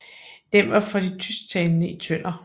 Den var for de tysktalende i Tønder